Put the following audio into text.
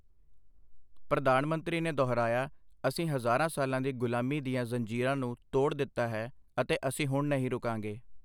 ਪ੍ਰਧਾਨ ਮੰਤਰੀ ਨੇ ਦੁਹਰਾਇਆ, ਅਸੀਂ ਹਜ਼ਾਰਾਂ ਸਾਲਾਂ ਦੀ ਗ਼ੁਲਾਮੀ ਦੀਆਂ ਜ਼ੰਜੀਰਾਂ ਨੂੰ ਤੋੜ ਦਿੱਤਾ ਹੈ, ਅਤੇ ਅਸੀਂ ਹੁਣ ਨਹੀਂ ਰੁਕਾਂਗੇ।